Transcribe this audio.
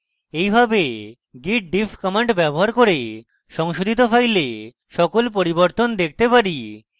এইভাবে git diff command ব্যবহার করে সংশোধিত files সকল পরিবর্তন দেখতে পারি